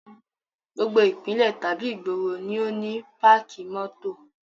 Gbogbo ìpínlẹ̀ tàbí ìgboro ni ó ní páàkì mótò